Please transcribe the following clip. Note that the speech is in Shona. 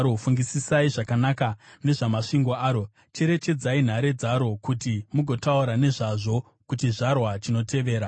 fungisisai zvakanaka nezvamasvingo aro, cherechedzai nhare dzaro, kuti mugotaura nezvazvo kuchizvarwa chinotevera.